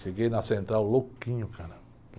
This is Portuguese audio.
Cheguei na central louquinho, cara.